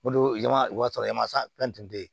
O don ɲama o y'a sɔrɔ masa fɛn tun tɛ yen